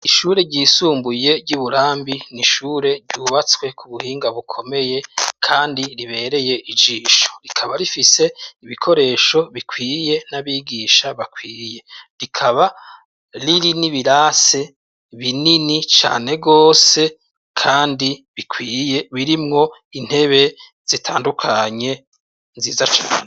Ishure ryisumbuye ry'i Burambi ni ishure ryubatswe ku buhinga bukomeye kandi ribereye ijisho, rikaba rifise ibikoresho bikwiye n'abigisha bakwiriye. Rikaba riri n'ibirase binini cane rwose kandi bikwiye, birimwo intebe zitandukanye nziza cane.